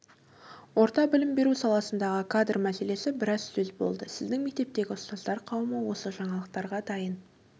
орта білім беру саласындағы кадр мәселесі біраз сөз болды сіздің мектептегі ұстаздар қауымы осы жаңалықтарға дайын